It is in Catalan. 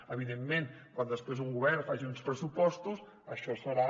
evidentment quan després un govern faci uns pressupostos això serà